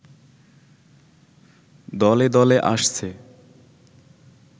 দলে দলে আসছে